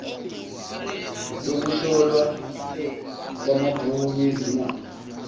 yokuhlolwa kwamabhuku ezimali